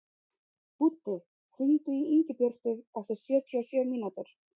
Búddi, hringdu í Ingibjörtu eftir sjötíu og sjö mínútur.